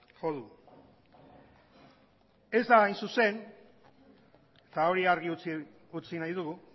jo du ez da hain zuzen eta hori argi utzi nahi dugu